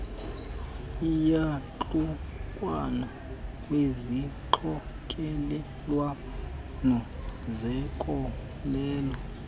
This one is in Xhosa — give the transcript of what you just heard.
iiyantlukwano kwizixokelelwano zenkolelo